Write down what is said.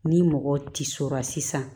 Ni mɔgɔ tisora sisan